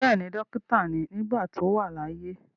Bẹ́ẹ̀ni, dókítà ni nígbà tí ó wà láyé.